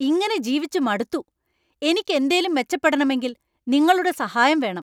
ഇങ്ങനെ ജീവിച്ചു മടുത്തു! എനിക്ക് എന്തേലും മെച്ചപ്പെടണമെങ്കിൽ നിങ്ങളുടെ സഹായം വേണം!